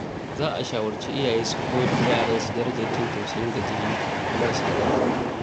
Za a shawarci iyaye su koyar da yaransu darajar jin tausayin gajiyayyu da marasa ƙarfi.